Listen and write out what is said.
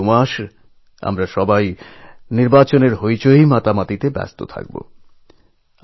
আগামী দুমাস আমরা নির্বাচন নিয়ে বিভিন্নভাবে ব্যস্ত থাকব